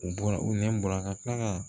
U bɔra u nɛn bɔra ka tila ka